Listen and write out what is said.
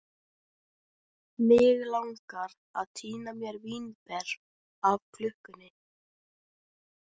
Mig langar að tína mér vínber af klukkunni.